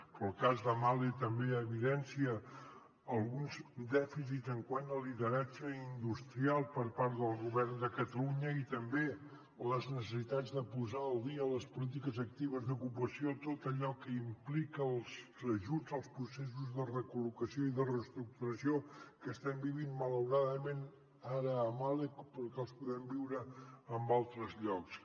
però el cas de mahle també evidencia alguns dèficits quant al lideratge industrial per part del govern de catalunya i també les necessitats de posar al dia les polítiques actives d’ocupació tot allò que implica els ajuts als processos de recol·locació i de reestructuració que estem vivint malauradament ara a mahle però que els podem viure en altres llocs